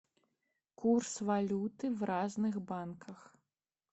курс валюты в разных банках